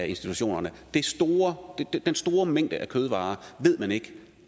institutionerne den store mængde af kødvarer ved man ikke